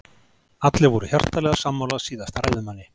Allir voru hjartanlega sammála síðasta ræðumanni.